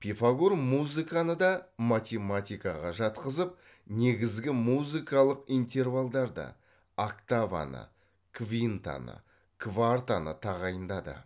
пифагор музыканы да математикаға жатқызып негізгі музыкалық интервалдарды октаваны квинтаны квартаны тағайындады